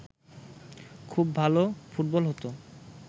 খুব ভালো ফুটবল হতো